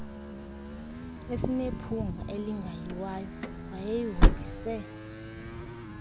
esinephunga elingayiwayo wayesihombise